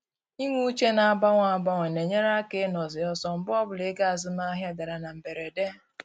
Inwe uche na-agbanwe agbanwe na-enyere aka ịnọ zi ọsọ mgbe ọbụla ego azụmahịa dara na mberede